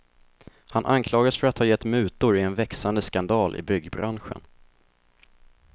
Han anklagas för att ha gett mutor i en växande skandal i byggbranschen.